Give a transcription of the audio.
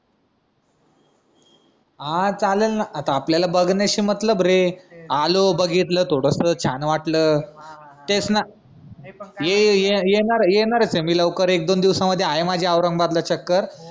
हान चाललं ना आता आपल्याला बघन्याशी मतलब रे आलो बघितलं थोडस छान वाटलं तेच ना येनारच ए मी लवकर एक, दोन दिवसामध्ये आहे माझी औरंगाबादला चक्कर